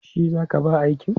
Shi za ka ba aikin?